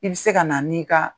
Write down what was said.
I bɛ se ka na ni ka